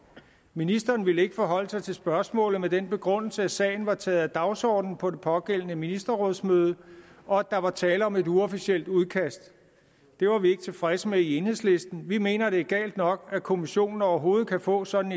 ministeren ville ikke forholde sig til spørgsmålet med den begrundelse at sagen var taget af dagsordenen på det pågældende ministerrådsmøde og at der var tale om et uofficielt udkast det var vi ikke tilfredse med i enhedslisten vi mener det er galt nok at kommissionen overhovedet kan få sådan